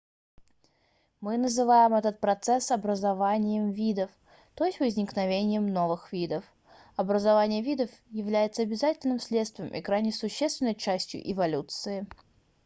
мы называем этот процесс образованием видов то есть возникновением новых видов образование видов является обязательным следствием и крайне существенной частью эволюции